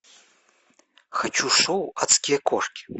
хочу шоу адские кошки